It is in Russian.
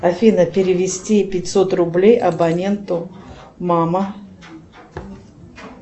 афина перевести пятьсот рублей абоненту мама